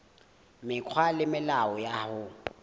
mekgwa le melao ya ho